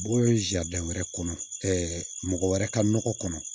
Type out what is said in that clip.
Bɔ wɛrɛ kɔnɔ mɔgɔ wɛrɛ ka nɔgɔ kɔnɔ